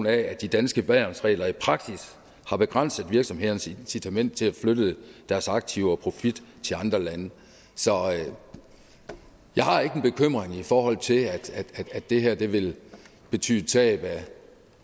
at de danske værnsregler i praksis har begrænset virksomhedernes incitament til at flytte deres aktiver og profit til andre lande så jeg har ikke en bekymring i forhold til at det her vil vil betyde tab af